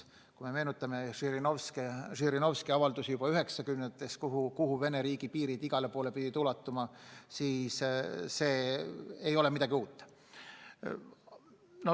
Kui me meenutame Žirinovski 1990-ndatel tehtud avaldusi, kuhu Vene riigi piirid igale poole ulatuma peavad, siis on selge, et see ei ole midagi uut.